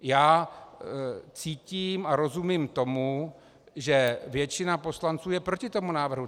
Já cítím a rozumím tomu, že většina poslanců je proti tomu návrhu.